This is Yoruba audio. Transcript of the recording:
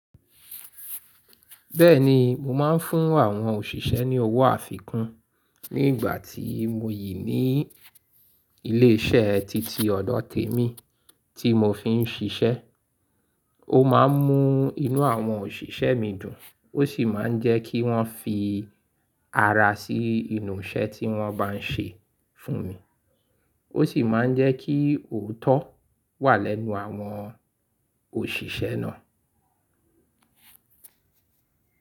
Bẹ́ẹ̀ni, mo máa ń fún àwọn òṣìṣẹ́ ní owó àfikún ní ìgbà tí mo yí ní ilé iṣẹ́ titi ọdọ̀ tèmi tí mo fi ń ṣiṣẹ́. Ó máa ń mú inú àwọn òṣìṣẹ́ mi dùn, ó sì máa ń jẹ́ kí wọ́n fi ara sí inú iṣẹ́ tí wọ́n bá ń ṣe fún mi. Ó sì máa ń jẹ́ kí òótọ́ wà lẹ́nu àwọn òṣìṣẹ́ náà.